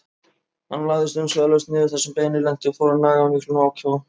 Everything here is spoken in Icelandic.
Hann lagðist umsvifalaust niður þar sem beinið lenti og fór að naga af miklum ákafa.